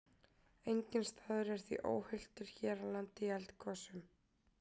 Enginn staður er því óhultur hér á landi í eldgosum.